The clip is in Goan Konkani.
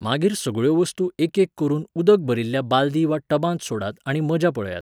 मागीर सगळ्यो वस्तू एकेक करून उदक भरिल्ल्या बालदी वा टबांत सोडात आनी मजा पळयात.